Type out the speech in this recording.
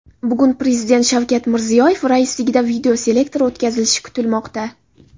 Bugun Prezident Shavkat Mirziyoyev raisligida videoselektor o‘tkazilishi kutilmoqda.